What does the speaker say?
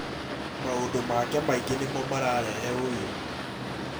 Maũndũ make maingĩ nĩmo mara rehe ũiru